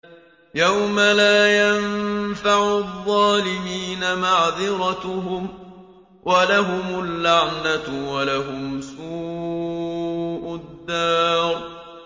يَوْمَ لَا يَنفَعُ الظَّالِمِينَ مَعْذِرَتُهُمْ ۖ وَلَهُمُ اللَّعْنَةُ وَلَهُمْ سُوءُ الدَّارِ